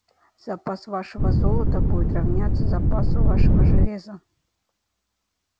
запас вашего золота будет равняться запасу вашего железа